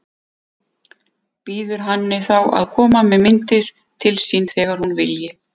Býður henni þá að koma með myndir til sín þegar hún vilji.